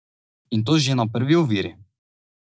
In to že na prvi oviri.